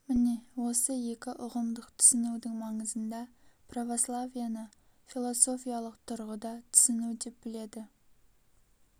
міне осы екі ұғымдық түсінудің маңызында православиені философиялық тұрғыда түсіну деп біледі